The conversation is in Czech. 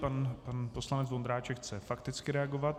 Pan poslanec Vondráček chce fakticky reagovat.